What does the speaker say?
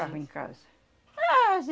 Ficava em casa. Mas,